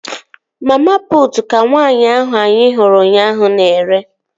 Mama putu ka nwaanyị ahụ anyị hụrụ ụnyaahụ na-ere